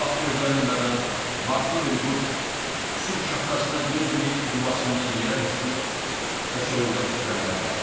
Bu vaxt gözlənilmədən Marslı bir quş sübh şaftasına dözməyib yuvasından yerə düşdü və soyuqdan titrəməyə başladı.